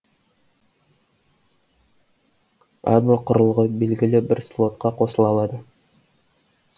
әрбір құрылғы белгілі бір слотқа қосыла алады